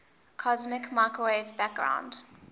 cosmic microwave background